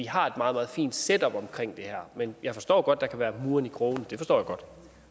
har et meget meget fint setup omkring det her men jeg forstår godt at der kan være murren i krogene det forstår